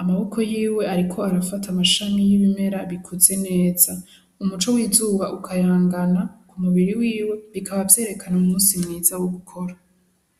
amaboko yiwe ariko arafata amashami y'ibimera bikuze neza umuco w'izuba ukayangana ku mubiri wiwe bikaba vyerekana umusi mwiza wo gukora.